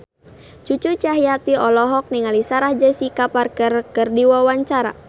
Cucu Cahyati olohok ningali Sarah Jessica Parker keur diwawancara